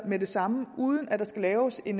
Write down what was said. med det samme uden at der skal laves en